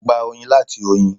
A gbà oyin láti oyin.